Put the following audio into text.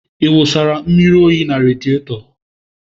Ị wụsara mmiri oyi na radieto?